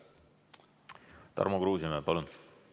Tarmo Kruusimäe, palun!